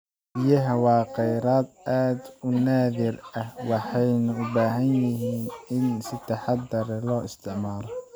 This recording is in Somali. Biyaha waa khayraad aad u naadir ah, waxayna u baahan yihiin in si taxadar leh loo isticmaalo.